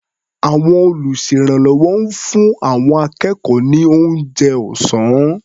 Àwọn olùṣèrànwọ́ ń fún àwọn akẹ́kọ̀ọ́ ní oúnjẹ ọ̀sá́n.